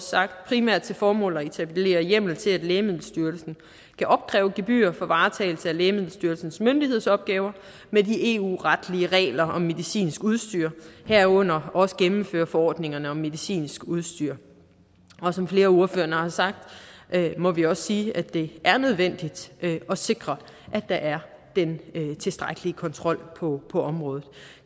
sagt primært til formål at etablere hjemmel til at lægemiddelstyrelsen kan opkræve gebyrer for varetagelse af lægemiddelstyrelsens myndighedsopgaver med de eu retlige regler om medicinsk udstyr herunder også at gennemføre forordningerne om medicinsk udstyr og som flere af ordførerne også har sagt må vi også sige at det er nødvendigt at sikre at der er den tilstrækkelige kontrol på området